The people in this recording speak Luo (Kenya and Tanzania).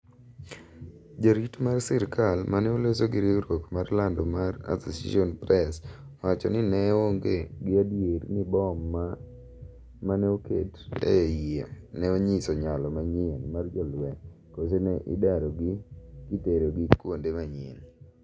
Jarit mar sirikal mane oloso gi riwruok mar lando mar Association press owacho ni ne oonge gi adier ni bom go maneoket e yie ne onyiso nyalo manyien mar jolweny kose ne idaro gi kitero gi kuende manyien